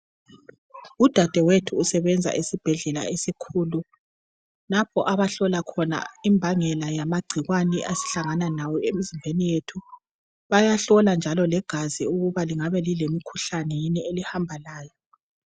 Udadewethu usebenza esibhedlela esikhulu lapho abahlola khona imbangela yamagcikwane esihlangana lawo emzimbeni yethu Bayahlola njalo legazi ukuba lingabe lilemikhuhlane yini elihamba layo